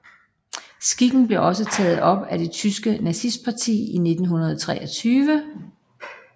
Skikken blev også taget op af det tyske nazistparti i 1923